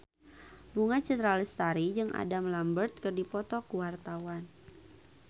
Bunga Citra Lestari jeung Adam Lambert keur dipoto ku wartawan